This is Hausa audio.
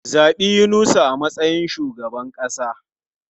Zabi Yunusa a matsayin shugaban kasa!